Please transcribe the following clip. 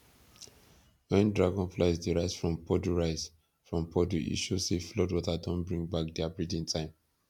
when dragonflies dey rise from puddle rise from puddle e show say flood water don bring back their breeding time